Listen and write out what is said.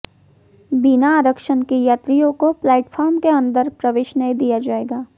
बिना आरक्षण के यात्रियों को प्लेटफार्म के अंदर प्रवेश नहीं दिया जाएगा